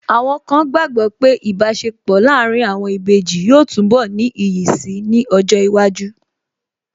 Àwọn kan gbàgbọ́ pé Ìbáṣepọ̀ láàárín àwọn ìbejì yóò túnbọ̀ ní iyì si ní ọjọ́ iwájú